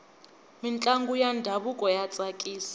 mintlangu ya ndhavuko ya tsakisa